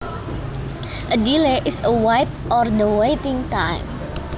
A delay is a wait or the waiting time